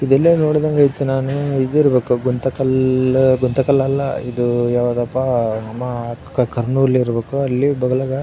ಇದೆಲ್ಲ ನೋಡಿದಂಗೆ ಇತ್ತು ನಾನು ಇದು ಇರಬೇಕು ಗುಂತಕಲ್ಲ್ ಗುಂತಕಲ್ಲ್ ಅಲ್ಲ ಇದು ಯಾವುದಪ್ಪಾ ನಮ ಕರ್ನೂಲ್ ಇರಬೇಕು ಅಲ್ಲಿ ಬಗಲಗ.